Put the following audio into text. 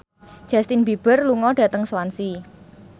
Justin Beiber lunga dhateng Swansea